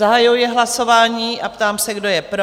Zahajuji hlasování a ptám se, kdo je pro?